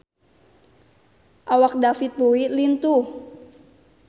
Awak David Bowie lintuh